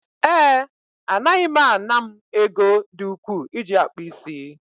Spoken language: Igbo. ee, Anaghị m ana m ego dị ukwuu iji akpụ isi